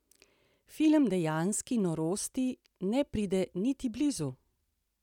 Film dejanski norosti ne pride niti blizu!